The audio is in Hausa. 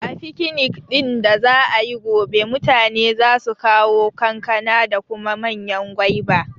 A fikinik ɗin da za'ayi gobe, mutane za su kawo kankana da kuma manyan gwaiba